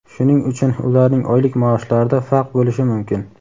Shuning uchun ularning oylik maoshlarida farq bo‘lishi mumkin.